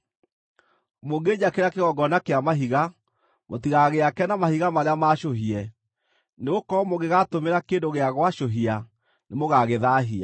Mũngĩnjakĩra kĩgongona kĩa mahiga, mũtigagĩake na mahiga marĩa maacũhie, nĩgũkorwo mũngĩgaatũmĩra kĩndũ gĩa gwacũhia nĩmũgagĩthaahia.